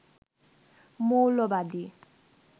মৌলবাদী